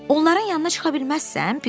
Onların yanına çıxa bilməzsən?